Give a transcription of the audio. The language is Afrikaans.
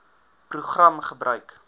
program gebruik